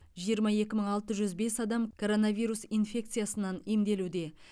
жиырма екі мың алты жүз бес адам короновирус инфекциясынан емделуде